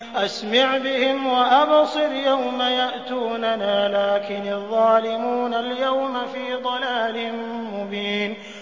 أَسْمِعْ بِهِمْ وَأَبْصِرْ يَوْمَ يَأْتُونَنَا ۖ لَٰكِنِ الظَّالِمُونَ الْيَوْمَ فِي ضَلَالٍ مُّبِينٍ